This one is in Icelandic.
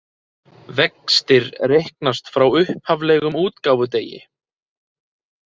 Vextir reiknast frá upphaflegum útgáfudegi